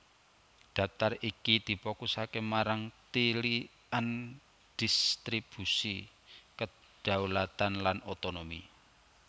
Daftar iki difokusaké marang tilikan dhistribusi kedhaulatan lan otonomi